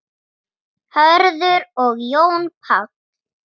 Hörður og Jón Páll.